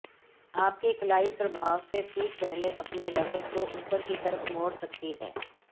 आपकी कलाई प्रभाव से ठीक पहले अपने रैकेट को ऊपर की तरफ मोड़ सकती है